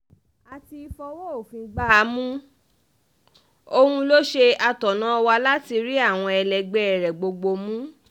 a ti fọwọ́ òfin gbá a mú òun lọ ṣe atọ́nà wa láti rí àwọn ẹlẹgbẹ́ rẹ̀ gbogbo mú